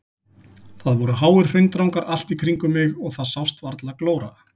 Það voru háir hraundrangar allt í kringum mig og það sást varla glóra.